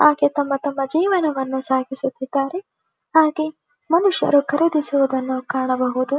ಹಾಗೆ ತಮ್ಮ ತಮ್ಮ ಜೇವನ್ನು ಸಾಗಿಸುತಿದ್ದರೆಹಾಗೆ ಮನುಷ್ಯರು ಖರೀದಿಸುದನ್ನು ಕಾಣಬಹುದು.